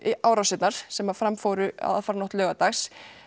árásirnar sem fram fóru aðfararnótt laugardags